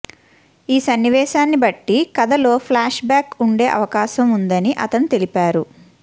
ఈ సన్నివేశాన్ని బట్టి కథలో ఫ్లాష్ బ్యాక్ ఉండే అవకాశం ఉందని అతను తెలిపారు